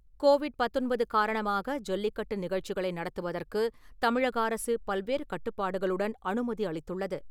Covid பத்தொன்பது காரணமாக ஜல்லிக்கட்டு நிகழ்ச்சிகளை நடத்துவதற்கு தமிழக அரசு பல்வேறு கட்டுப்பாடுகளுடன் அனுமதி அளித்துள்ளது.